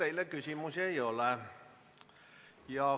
Teile küsimusi ei ole.